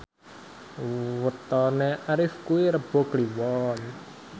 wetone Arif kuwi Rebo Kliwon